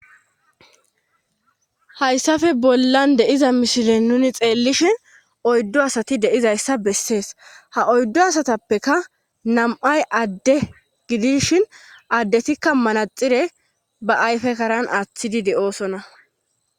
hayssappee bollan de'iza misilen nuni xeellishin oyddu asati de'izayssa bessees ha oyddu asatappekka nam'ay adde gidishin addetikka manaxire ba ayfe karan aaththidi de'oosonna